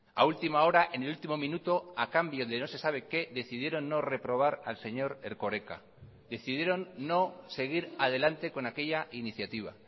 a última hora en el último minuto a cambio de no se sabe qué decidieron no reprobar al señor erkoreka decidieron no seguir adelante con aquella iniciativa